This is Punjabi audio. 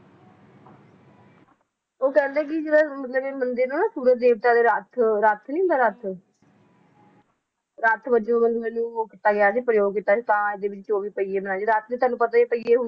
ਉਹ ਕਹਿੰਦੇ ਕਿ ਜਿਹੜਾ ਮਤਲਬ ਇਹ ਮੰਦਿਰ ਨਾ ਸੂਰਜ ਦੇਵਤਾ ਦੇ ਰੱਥ, ਰੱਥ ਨੀ ਹੁੰਦਾ ਰੱਥ ਰੱਥ ਵਜੋਂ ਇਹਨੂੰ ਉਹ ਕੀਤਾ ਗਿਆ ਸੀ ਪ੍ਰਯੋਗ ਕੀਤਾ ਸੀ ਤਾਂ ਇਹਦੇ ਵਿਚ ਉਹੀ ਪਹੀਏ ਬਣਾਏ, ਰਥ ਦੇ ਤੁਹਾਨੂੰ ਪਤਾ ਈ ਆ ਪਹੀਏ